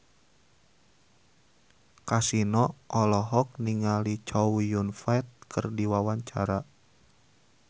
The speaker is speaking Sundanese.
Kasino olohok ningali Chow Yun Fat keur diwawancara